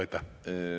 Aitäh!